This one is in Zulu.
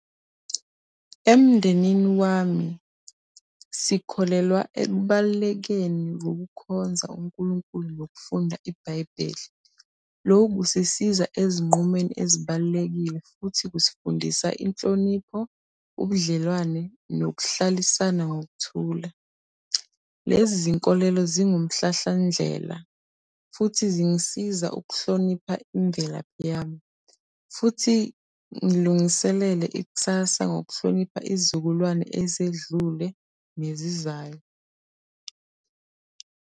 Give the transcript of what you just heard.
Emndenini wami, sikholelwa ekubalulekeni kokukhonza uNkulunkulu nokufunda iBhayibheli. Lokho kusisiza ezinqumweni ezibalulekile futhi kusifundisa inhlonipho, ubudlelwane nokuhlalisana ngokuthula. Lezi zinkolelo zingumhlahlandlela futhi zingisiza ukuhlonipha imvelaphi yami. Futhi ngilungiselele ikusasa ngokuhlonipha iy'zukulwane ezedlule nezizayo.